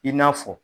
I n'a fɔ